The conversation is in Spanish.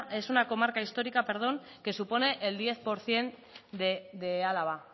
es una comarca histórica que supone el diez por ciento de álava